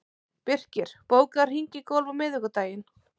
Birkir, bókaðu hring í golf á miðvikudaginn.